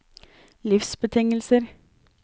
livsbetingelser